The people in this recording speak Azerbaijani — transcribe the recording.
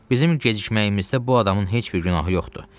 Bizim gecikməyimizdə bu adamın heç bir günahı yoxdur.